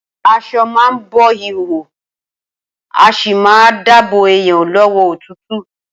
As̩o̩ a má a bo ìhòhò, a sì máa dáàbò èèyàn ló̩wó̩ òtútù